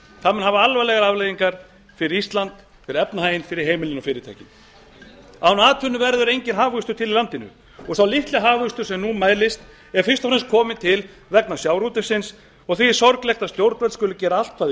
það mun hafa alvarlegar afleiðingar fyrir ísland fyrir efnahaginn fyrir heimilin og fyrirtækin án atvinnu verður enginn hagvöxtur til í landinu og sá litli hagvöxtur sem nú mælist er fyrst og fremst kominn til vegna sjávarútvegsins og því er sorglegt að stjórnvöld skuli gera allt hvað þau